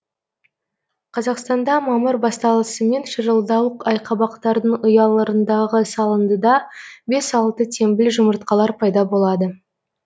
қазақстанда мамыр басталысымен шырылдауық айқабақтардың ұяларындағы салындыда бес алты теңбіл жұмыртқалар пайда болады